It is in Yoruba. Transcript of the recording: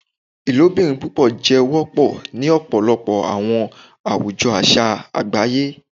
Ilobirin pupọ jẹ wọpọ ni ọpọlọpọ awọn awujọ aṣa agbaye